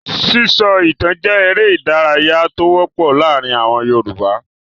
Sísọ ìtan jẹ́ eré-idárayá tó wọ́pọ̀ láàárin àwọn Yorùbá.